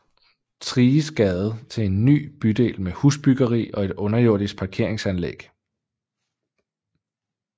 Thriges Gade til en ny bydel med husbyggeri og et underjordisk parkeringsanlæg